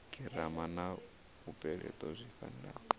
girama na mupeleto zwi fanela